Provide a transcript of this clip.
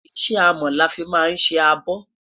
iṣẹ amo lọ fí má sé àbò